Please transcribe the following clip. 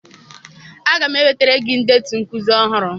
Aga m ewetara gị ndetu nkuzi ọhụrụ